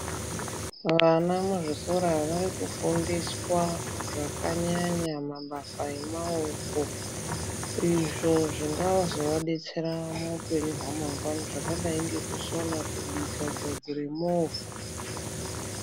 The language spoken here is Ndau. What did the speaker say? Vana muzvikora vari kufundiswa zvakanyanya mabasa emaoko izvo zvingazovabetsera muupenyu hwamangwani zvakadai sekusona, kubika, kugadzire movha.